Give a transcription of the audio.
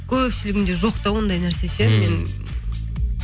көпшілігінде жоқ та ондай нәрсе ше мен